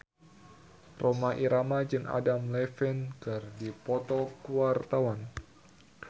Rhoma Irama jeung Adam Levine keur dipoto ku wartawan